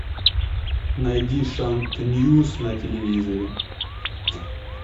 найди шант ньюс на телевизоре